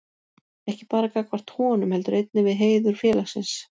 Ekki bara gagnvart honum, heldur einnig við heiður félagsins.